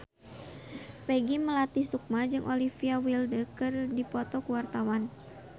Peggy Melati Sukma jeung Olivia Wilde keur dipoto ku wartawan